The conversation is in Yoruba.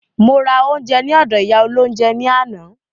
Mo ra oúnjẹ ní ọdọ̀ ìyá olóhúnjẹ ní àná.